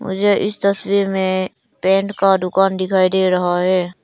मुझे इस तस्वीर में पेंट का दुकान दिखाई दे रहा है।